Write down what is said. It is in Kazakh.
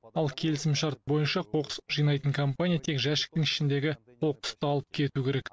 ал келісімшарт бойынша қоқыс жинайтын компания тек жәшіктің ішіндегі қоқысты алып кету керек